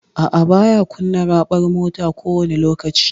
A'a, baya kunna raɓar mota kowani lokaci.